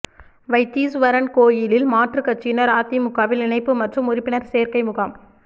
வைத்தீஸ்வரன்கோயிலில் மாற்றுக் கட்சியினர் அதிமுகவில் இணைப்பு மற்றும் உறுப்பினர் சேர்க்கை முகாம்